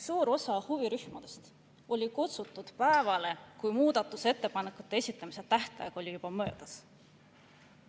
Suur osa huvirühmadest olid siia kutsutud päeval, kui muudatusettepanekute esitamise tähtaeg oli juba möödas.